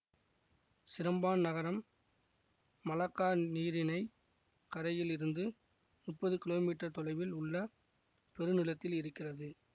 Seremban நகரம் Malacca நீரிணை கரையில் இருந்து முப்பது கிலோமீட்டர் தொலைவில் உள் பெருநிலத்தில் இருக்கிறது